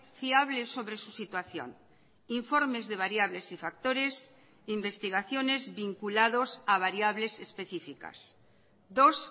fiable sobre su situación informes de variables y factores investigaciones vinculados a variables específicas dos